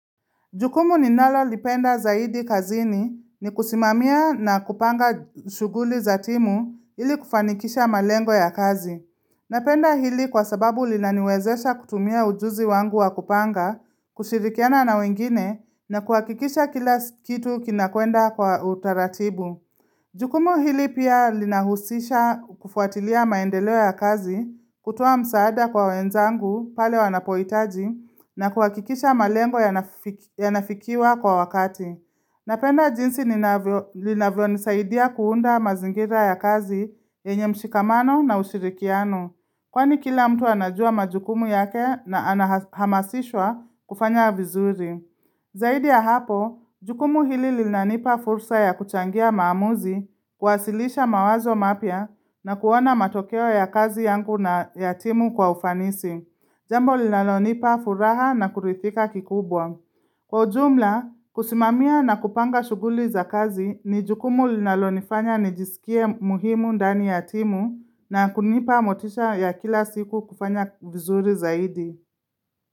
Jukumu ninalo lipenda zaidi kazini ni kusimamia na kupanga shughuli za timu ili kufanikisha malengo ya kazi. Napenda hili kwa sababu linaniwezesha kutumia ujuzi wangu wa kupanga, kushirikiana na wengine na kuhakikisha kila kitu kinakwenda kwa utaratibu. Jukumu hili pia linahusisha kufuatilia maendeleo ya kazi, kutoa msaada kwa wenzangu pale wanapohitaji na kuhakikisha malengo ya nafikiwa kwa wakati. Napenda jinsi linavyo nisaidia kuunda mazingira ya kazi yenye mshikamano na ushirikiano, kwani kila mtu anajua majukumu yake na anahamasishwa kufanya vizuri. Zaidi ya hapo, jukumu hili lina nipa fursa ya kuchangia maamuzi kuwasilisha mawazo mapya na kuona matokeo ya kazi yangu na yatimu kwa ufanisi. Jambo linalo nipa furaha na kuridhika kikubwa. Kwa ujumla, kusimamia na kupanga shughuli za kazi ni jukumu linalo nifanya nijisikie muhimu ndani yatimu na kunipa motisha ya kila siku kufanya vizuri zaidi.